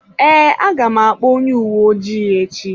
Ee, aga m akpọ onye uwe ojii echi.